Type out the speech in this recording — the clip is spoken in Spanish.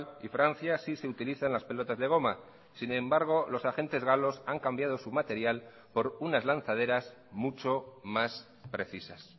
y francia sí se utilizan las pelotas de goma sin embargo los agentes galos han cambiado su material por unas lanzaderas mucho más precisas